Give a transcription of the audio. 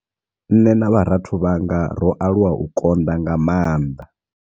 Nṋe na vharathu vhanga ro aluwa u konḓa nga maanḓa.